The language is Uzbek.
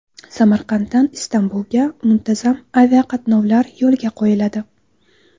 Samarqanddan Istanbulga muntazam aviaqatnovlar yo‘lga qo‘yiladi.